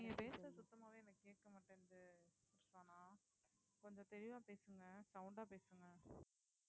நீங்க பேசுறது சுத்தமாவே எனக்கு கேட்க மாட்டேங்குது சனா கொஞ்சம் தெளிவா பேசுங்க sound ஆ பேசுங்க